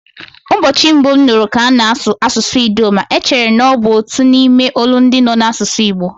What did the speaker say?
Ụbọchị mbụ m nụrụ ka ana-asụ asụsụ Idoma, echere na ọ bụ otu n'ime olundị nọ n'asụsụ Igbo.